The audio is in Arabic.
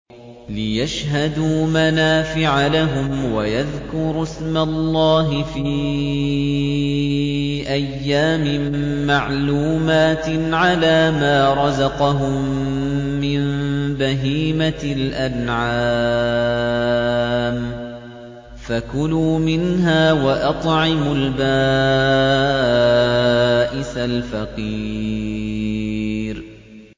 لِّيَشْهَدُوا مَنَافِعَ لَهُمْ وَيَذْكُرُوا اسْمَ اللَّهِ فِي أَيَّامٍ مَّعْلُومَاتٍ عَلَىٰ مَا رَزَقَهُم مِّن بَهِيمَةِ الْأَنْعَامِ ۖ فَكُلُوا مِنْهَا وَأَطْعِمُوا الْبَائِسَ الْفَقِيرَ